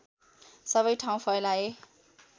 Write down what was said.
सबै ठाउँ फैलाए